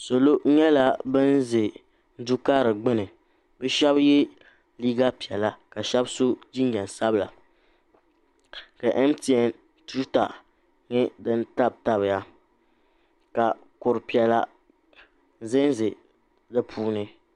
salo nyɛla ban za du'karili gbuni shɛba ye liiga piɛlla ka shɛba so jinjam sabila ka MTN tuuta nye din tabitabiya ka kur'piɛlla zanza di puuni